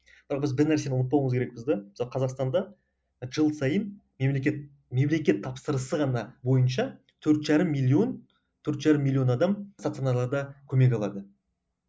бір нәрсені ұмытпауымыз керекпіз де мысалы қазақстанда жыл сайын мемлекет мемлекет тапсырысы ғана бойынша төрт жарым миллион төрт жарым миллион адам стационарларда көмек алады